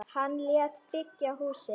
Hann lét byggja húsið.